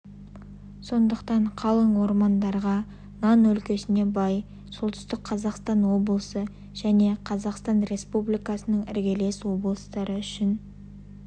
сондықтан қалың ормандарға нан өлкесіне бай солтүстік қазақстан облысы және қазақстан республикасының іргелес облыстары үшін